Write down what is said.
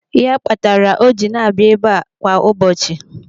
Ya kpatara o ji na-abịa ebe kwa ụbọchị.